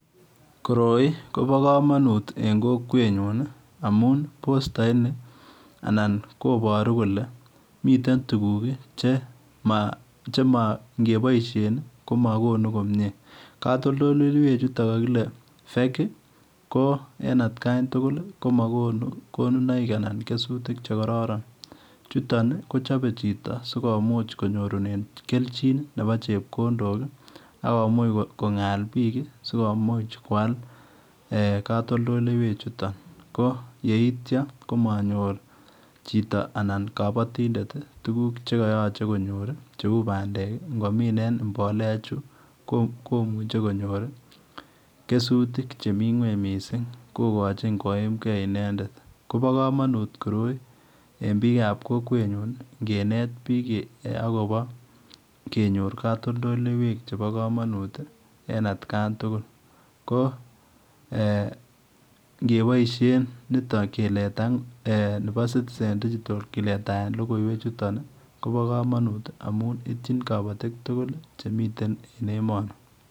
Koroi kobaa kamanut en kokwet nyuun amuun postait ni anan kobaruu kole mitten tuguk che ma kobaishen ko magonu komyei katoltoleweek chutoon kagile [fake] ko en at khan tugul komakonuu kesutiik che llorón , chutoon ii kochape chitoo sikomuuch konyorunen ii keljonaik che chame borto ,che o chepkondok akomuuch Konga biik ii sikowal katoltoleweek chutoon ko yeitya komanyor pandek ingominen mbolea chuu komuchei konyor kesutiik che mii ngweeny Missing ko gochin koimgei intended kobaa kamanut koroi en biik ab kokwet nyuun ingeneet biik ago bo konyoor katoltoleweek che bo kamanut en at khan tugul, ko eh ingebaishen koroi bo [citizen digital] keletaen logoiwek chutoon kobaa kamanut amun ityiin kabatiik tugul ii che mitten en emani.